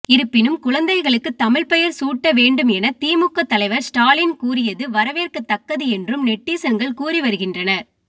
இருப்பினும் குழந்தைகளுக்கு தமிழ் பெயர் சூட்ட வேண்டும் என திமுக தலைவர் ஸ்டாலின் கூறியது வரவேற்கத்தக்கது என்றும் நெட்டிசன்கள் கூறிவருகின்றனர்